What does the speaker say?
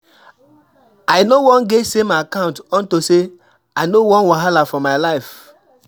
I no wan get same account unto say I no wan wahala for my life.